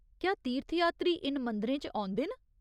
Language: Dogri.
क्या तीर्थयात्री इ'न्न मंदिरें च औंदे न ?